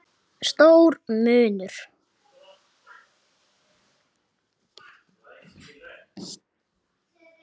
Stór munur.